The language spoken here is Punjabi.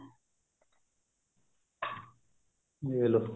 ਵੇਖਲੋ